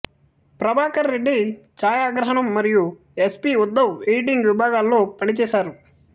ప్రభాకర్ రెడ్డి ఛాయాగ్రహణం మరియూ S B Uddhav editing విభాగాల్లో పనిచేసారు